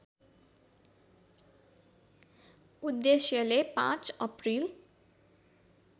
उद्देश्यले ५ अप्रिल